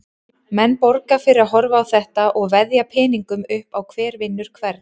Menn borga fyrir að horfa á þetta og veðja peningum upp á hver vinnur hvern.